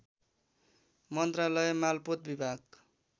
मन्त्रालय मालपोत विभाग